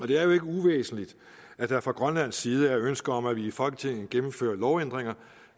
det er jo ikke uvæsentligt at der fra grønlands side er ønske om at vi i folketinget gennemfører lovændringer